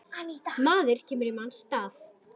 Maður kemur í manns stað.